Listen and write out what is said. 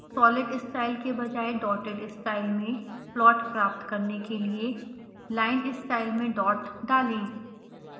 solid style के बजाय dotted style में पलॉट प्राप्त करने के लिए linestyle में डॉट डालें